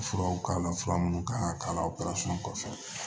Furaw k'a la fura minnu kan ka k'a la o kɔfɛ